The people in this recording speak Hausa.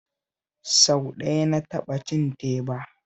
Sau ɗaya na taɓa cin teba